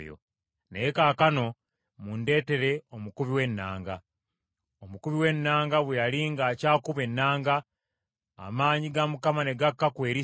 Naye kaakano, mundeetere omukubi w’ennanga.” Omukubi w’ennanga bwe yali ng’akyakuba ennanga, amaanyi ga Mukama ne gakka ku Erisa,